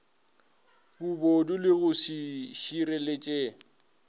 bobodu le go se šireletše